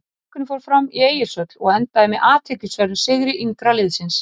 Leikurinn fór fram í Egilshöll og endaði með athyglisverðum sigri yngra liðsins.